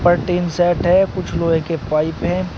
ऊपर tin set है कुछ लोहे के पाइप हैं।